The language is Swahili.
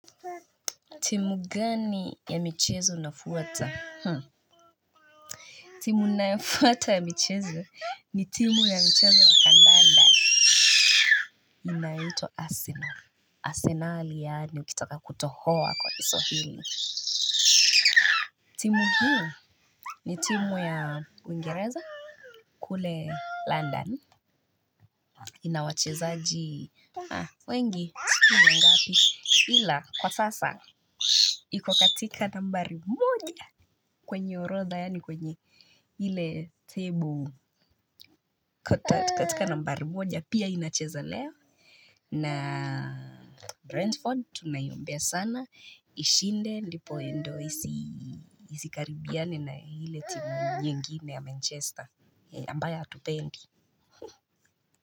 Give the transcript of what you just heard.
Timu gani ya michezo nafuata? Timu nafuata ya michezo ni timu ya mchezo wa kandanda. Inaitwa arsenal Arsenali yaani ukitaka kutohoa kwa kiswahili timu hii ni timu ya Uingereza. Kule London ina wachezaji wengi sijui ni wangapi ila kwa sasa iko katika nambari moja. Kwenye orodha yaani kwenye ile table katika nambari moja pia inacheza leo. Na Brentford tunaiombea sana ishinde ndipo ndio isi isikaribiane na ile timu nyingine ya Manchester ambayo hatupendi.